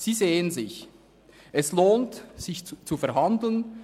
Sie sehen, es lohnt sich, zu verhandeln.